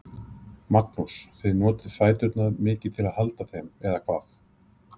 Magnús: Þið notið fæturna mikið til að halda þeim, eða hvað?